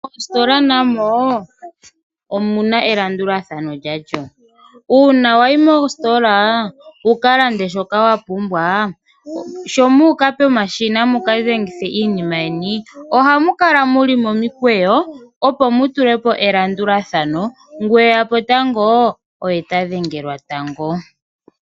Moositola namo omuna elandulathano uuna wayimo sho muuka pomashina mukadhengithe iinima yeni ohamu kala muli momukweyo ngu eyapo tango oye tadhengelwa tango.